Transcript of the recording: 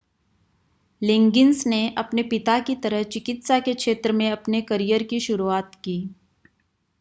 लिगिंन्स ने अपने पिता की तरह चिकित्सा के क्षेत्र में अपने कैरियर की शुरूआत की